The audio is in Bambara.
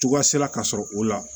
Cogoya sera ka sɔrɔ o la